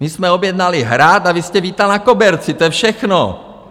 My jsme objednali Hrad a vy jste vítal na koberci, to je všechno.